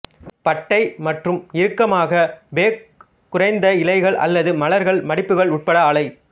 பட்டை மற்றும் இறுக்கமாக பேக் குறைந்த இலைகள் அல்லது மலர்கள் மடிப்புகள் உட்பட ஆலை